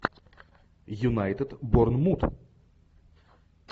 юнайтед борнмут